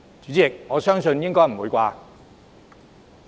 主席，我想應該不會吧。